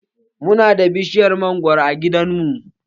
Mu na da bishiyar mangwaro a gidan mu.